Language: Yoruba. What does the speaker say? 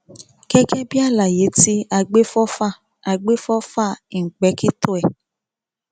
gẹgẹ bíi àlàyé tí àgbéfọfà àgbéfọfà ìńpèkìtọ ẹ̀